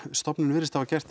stofnunin virðist hafa gert